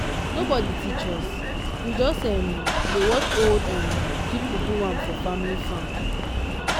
nobody teach us; we just um dey watch old um people do am for family farm.